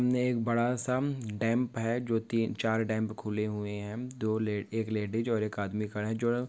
इनमे एक बडा सा डैम्प है। जो तीन चार डैम्प खुले हुए है। दो ले एक लेडिज और एक आदमी खडा है। जो--